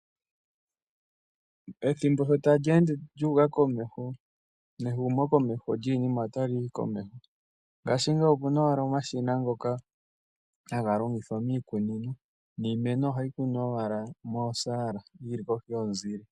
Ethimbo sho tali ende lyu uka komesho, wehumokomeho lyiinima nalyo otali yi komeho. Ngaashingeyi opuna owala omashina ngoka haga longithwa haga longithwa miikunino, niimeno ohayi kunwa owala mosaala, yi li kohi yomuzile.